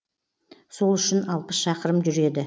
сол үшін алпыс шақырым жүреді